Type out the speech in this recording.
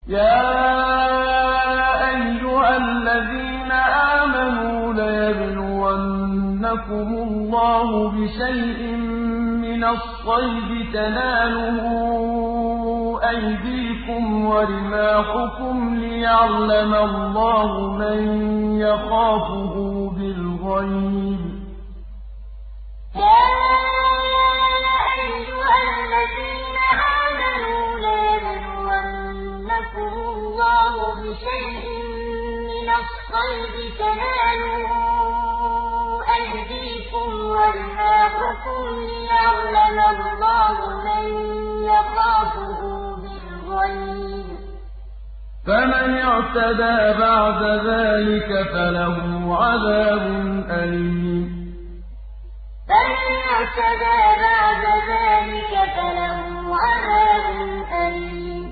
يَا أَيُّهَا الَّذِينَ آمَنُوا لَيَبْلُوَنَّكُمُ اللَّهُ بِشَيْءٍ مِّنَ الصَّيْدِ تَنَالُهُ أَيْدِيكُمْ وَرِمَاحُكُمْ لِيَعْلَمَ اللَّهُ مَن يَخَافُهُ بِالْغَيْبِ ۚ فَمَنِ اعْتَدَىٰ بَعْدَ ذَٰلِكَ فَلَهُ عَذَابٌ أَلِيمٌ يَا أَيُّهَا الَّذِينَ آمَنُوا لَيَبْلُوَنَّكُمُ اللَّهُ بِشَيْءٍ مِّنَ الصَّيْدِ تَنَالُهُ أَيْدِيكُمْ وَرِمَاحُكُمْ لِيَعْلَمَ اللَّهُ مَن يَخَافُهُ بِالْغَيْبِ ۚ فَمَنِ اعْتَدَىٰ بَعْدَ ذَٰلِكَ فَلَهُ عَذَابٌ أَلِيمٌ